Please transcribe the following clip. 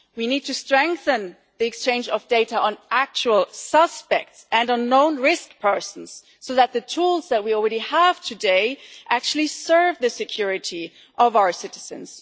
We need to strengthen the exchange of data on actual suspects and unknown risk persons, so that the tools that we already have today actually serve the security of our citizens.